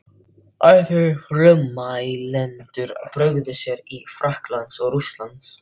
Aðrir frummælendur brugðu sér til Frakklands og Rússlands.